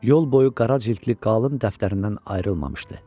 Yol boyu qara cildli qalın dəftərindən ayrılmamışdı.